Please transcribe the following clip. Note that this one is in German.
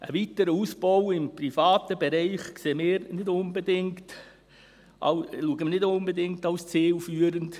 Einen weiteren Ausbau im privaten Bereich sehen wir nicht unbedingt als zielführend.